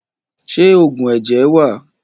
Ṣé oògùn ẹ̀jẹ̀ wà?